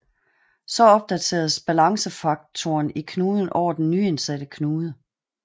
Så opdateres balancefaktoren i knuden over den nyindsatte knude